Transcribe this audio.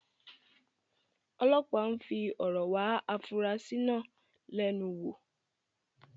ọlọpàá ń fi ọ̀rọ̀ wá afurasí náà lẹ́nu wò.